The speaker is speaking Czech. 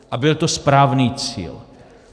A byl to správný cíl.